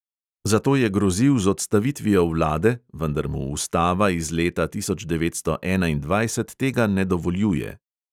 Zato je grozil z odstavitvijo vlade, vendar mu ustava iz leta tisoč devetsto enaindvajset tega ne dovoljuje.